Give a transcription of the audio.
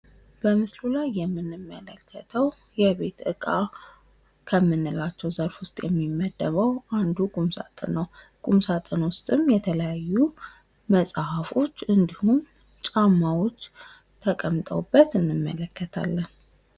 በምስሉ ላይ የምንመለከተው የቤት እቃ ከምንላቸው ዘርፍ ውስጥ የሚመድበው አንዱ ቁምሳጥን ነው። ቁም ሳጥን ውስጥም የተለያዩ መጽሐፎች እንድሁም ጫማዎች ተቀምጠውበት እንመለከታለን።